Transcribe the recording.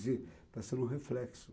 Quer dizer, está sendo o reflexo.